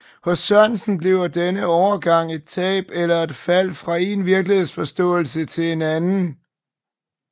Hos Sørensen bliver denne overgang et tab eller et fald fra én virkelighedsforståelse til en anden